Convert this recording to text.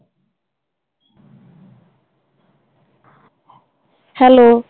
hello